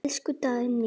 Elsku Dagný.